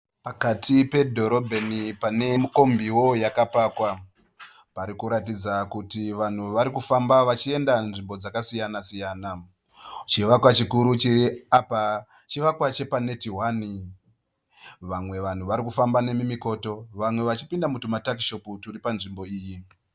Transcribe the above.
Pakati pedhorobheni pane kombiwo yakapakwa, pari kuratidza kuti vanhu vari kufamba vachienda nzvimbo dzakasiyanasiyana, chivakwa chikuru chiri apa chivakwa chepa neti hwani, vamwe vanhu vari kufamba nemumikoto vamwe vachipinda mutuma takishopu turi panzvimbo iyi.